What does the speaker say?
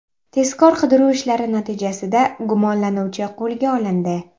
Tezkor-qidiruv ishlari natijasida gumonlanuvchi qo‘lga olindi.